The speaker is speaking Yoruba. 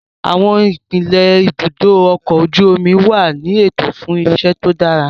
Àwọn ipele ibùdó ọkọ̀ ojú omi wà ní ètò fún iṣẹ́ tó dára